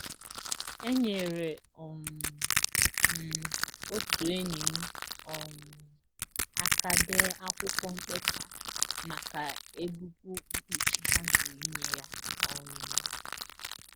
Enyere um m otu enyi m um aka dee akwụkwọ mkpesa maka ebubu mkpuchi ha jụrụ inye ya. um